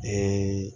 Ee